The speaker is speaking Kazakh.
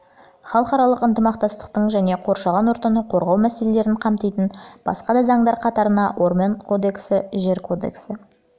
халықаралық ынтымақтастық және қоршаған ортаны қорғау мәселелерін қамтитын басқа да заңдар қатарына орман кодексі жер кодексі